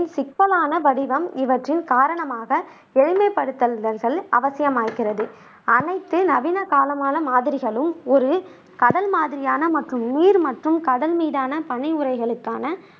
சிக்கலான வடிவம் இவற்றின் காரணமாக எளிமைப்படுத்தல்கள் அவசியமாயிருக்கிறது. அனைத்து நவீன கால மாதிரிகளும் ஒரு கடல் மாதிரியான மற்றும் நீர் மற்றும் கடல் மீதான பனி உறைகளுக்கான